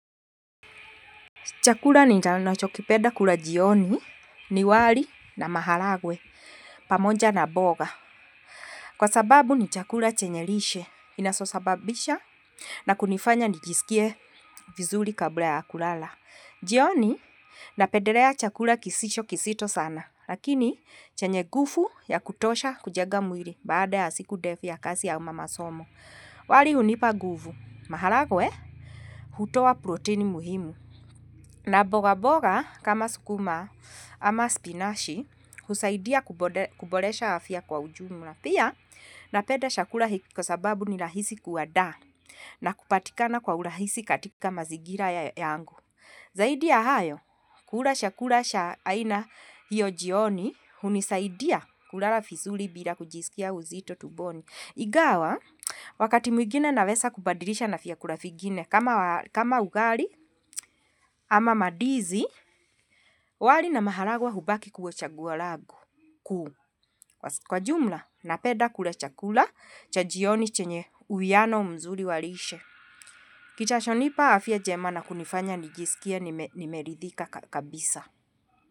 Chakula ni nachokipeda kula jioni, ni wali na mahalagwe, pamoja na boga. Kwa sababu ni chakula chenye lishe, inasosababisha na kunifanya nijisikie vizuli kabla ya kulala. Jioni napederea chakula kisisho kisito sana, lakini chenye gufu ya kutosha kujega mwili baada ya siku defu ya kasi ya ama masomo. Wali unipa gufu, mahalagwe, hutoa protein muhimu. Na boga boga, kama sukuma ama spinashi, husaidia kuboresha afya kwa ujumla. Pia, napenda shakula hii kwa sababu ni lahisi kuwadaa na kupatikana kwa urahisi katika mazigira yangu. Zaidi ya hayo, kula shakula sha aina hiyo jioni, hunisaidia kulala fizuli bila kujisikia uzito tuboni. Igawa, wakati mwigine nawesa kubadilisha na fiakula figine kama ugali ama madizi wali na mahalagwa hubaki kuwa chaguo lagu kuu kwa jumla napeda kula chakula cha jioni chenye uwiano mzuri wa lishe. Kitashonipa afya jema na kunifanya nijisikie nimeridhika kabisa.